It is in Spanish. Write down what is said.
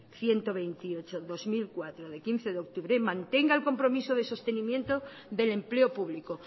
ciento veintiocho barra dos mil catorce de quince de octubre mantenga el compromiso de sostenimiento del empleo público